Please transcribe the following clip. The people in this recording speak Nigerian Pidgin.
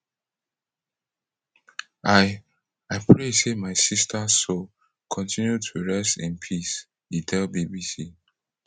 i i pray say my sisters soul continue to rest in peace e tell bbc